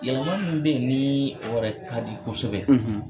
Yɛlɛma min bɛ yen ni o yɛrɛ ka di kosɛbɛ